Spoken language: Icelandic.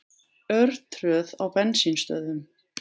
Örtröð á bensínstöðvum